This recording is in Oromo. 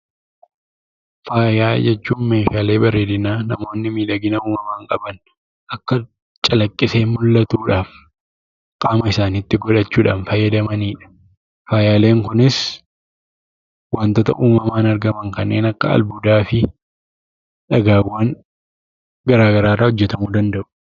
Faayaa jechuun meeshaalee bareedinaa namoonni miidhagina uumamaan qaban akka calaqqisee mul'atuu dhaan qaama isaaniitti godhachuu dhaan fsyyadamani dha. Faayaaleen kunis wantoota uumamaan argaman kanneen akka albuudaa fi dhagaawwan gara garaa irraa hojjeramuu danda'u.